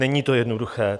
Není to jednoduché.